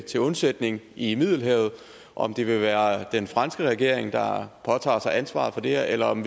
til undsætning i middelhavet om det ville være den franske regering der påtog sig ansvaret for det her eller om